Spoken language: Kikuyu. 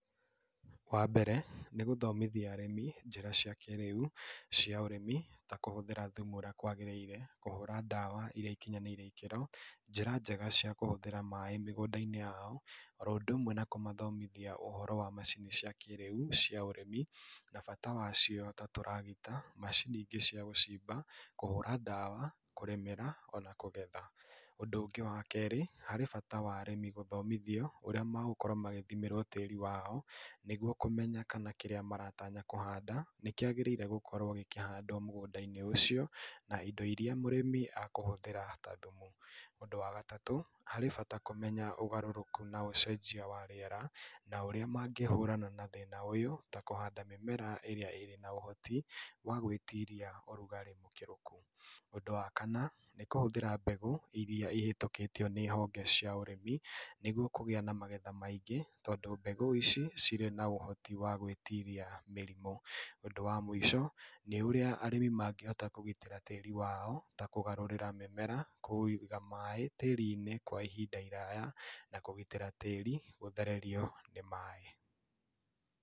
Wa mbere, nĩ gũthomithia arĩmi njĩra cia kĩrĩu, cia ũrĩmi ta kũhũthĩra thumu urĩa kwaagĩrĩire, kũhũra ndawa irĩa ikinyanĩire ikĩro, njĩra njega cia kũhũthĩra maĩ mĩgũnda-inĩ yao, oro ũndũ ũmwe na kũmathomithia ũhoro wa macini cia kĩrĩu cia ũrĩmi. Na bata wacio ta tũragita, macini ingĩ cia gũcimba, kũhũra ndawa, kũrĩmĩra, ona kũgetha. Ũndũ wa kerĩ, harĩ bata wa arĩmi gũthomithio ũrĩa magũkorwo magĩthimĩrwo tĩri wao, nĩguo kũmenya kĩrĩa maratanya kũhanda nĩ kĩagĩrĩirwo gũkorwo gĩkĩhandwo mũgũnda-inĩ ũcio, na indo irĩa mũrĩmi akũhũthĩra ta thumu. Ũndu wa gatatũ, harĩ bata kũmenya ũgarũrũku na ũcenjia wa rĩera, na ũrĩa mangĩhũrana na thĩna ũyũ ta kũhanda mĩmera ĩrĩa ĩrĩ na ũhoti wa gwĩtiria ũrugarĩ mũkĩru. Ũndũ wa kana, nĩ kũhũthĩra mbeũ iria ihĩtũkĩtio nĩ honge cia ũrĩmi nĩguo kũgĩa na magetha maingĩ tondũ mbegũ ici cirĩ na ũhoti wa gwĩtiria mĩrimũ. Ũndũ wa mũico nĩ ũrĩa arĩmi mangihota kũgitĩra tĩri wao ta kũgarũrĩra mĩmera, kũiga maĩ tĩri-inĩ kwa ihinda iraya, na kũgitĩra tĩri gũthererio nĩ maĩ.